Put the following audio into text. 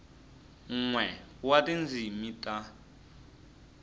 n we wa tindzimi ta